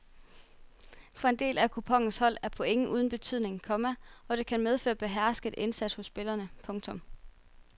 For en del af kuponens hold er point uden betydning, komma og det kan medføre behersket indsats hos spillerne. punktum